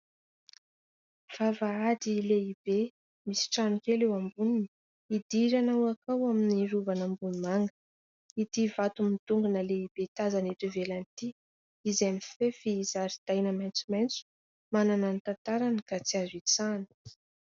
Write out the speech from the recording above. Vavahady lehibe, misy trano kely eo amboniny, idirana makao amin'ny Rovan'Ambohimanga. Ity vato midongona lehibe tazana eto ivelany ity, izay mifefy zaridaina maitsomaitso, manana ny tantarany ka tsy azo itsahana.